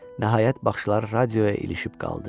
Nəhayət, baxışları radioya ilişib qaldı.